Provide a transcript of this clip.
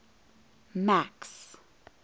max